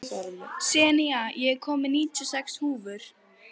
Senía, ég kom með níutíu og sex húfur!